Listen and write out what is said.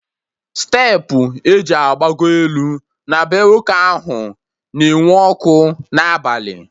Steepụ eji agbagọ elu na bee nwoke ahụ na-enwu ọkụ n'abalị